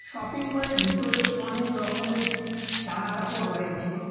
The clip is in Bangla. শপিংমলের ভিতরে অনেক রকমের জামা কাপড় রয়েছে।